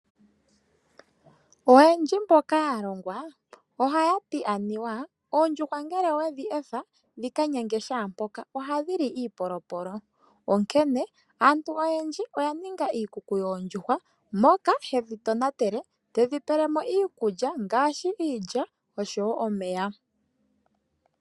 Oyendji mboka ya longwa ohaya ti aniwa oondjuhwa ngele owedhi etha dhi ka nyange shaa mpoka ohadhi li iipolopolo, onkene aantu oyendji oya ninga iikuku yoondjuhwa moka hedhi tonatele, tedhi pele mo iikulya oshowo omeya.